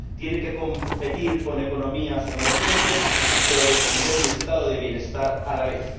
Tiene que competir con economías emergentes, pero defender el Estado de bienestar a la vez.